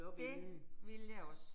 Det ville jeg også